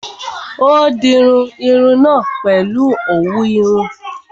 Ó dirun irun náà pèlu òwú irun